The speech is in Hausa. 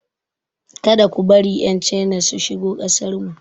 Ka da ku bari 'Yan China su shigo kasarmu.